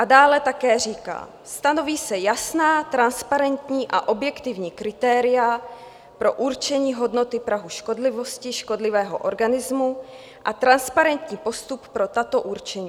A dále také říká: "Stanoví se jasná, transparentní a objektivní kritéria pro určení hodnoty prahu škodlivosti škodlivého organismu a transparentní postup pro tato určení.